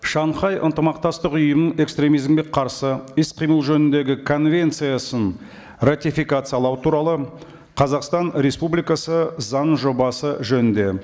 шанхай ынтымақтастық ұйым экстремизмге қарсы іс қимыл жөніндегі конвенциясын ратификациялау туралы қазақстан республикасы заңының жобасы жөнінде